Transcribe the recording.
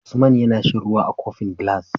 Usman yAna shan ruwa a kofin gilas